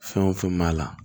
Fɛn o fɛn b'a la